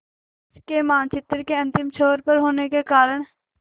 देश के मानचित्र के अंतिम छोर पर होने के कारण